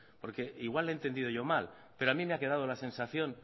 porque igual he entendido yo mal pero a mí me ha quedado la sensación